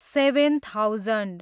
seven thousand